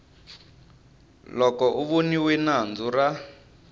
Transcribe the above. loko a voniwe nandzu ra